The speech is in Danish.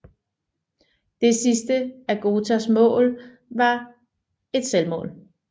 Det sidste af Götas mål var et selvmål